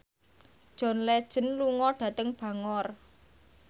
John Legend lunga dhateng Bangor